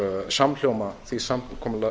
samhljóma því samkomulagi